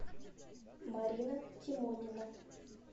марина тимонина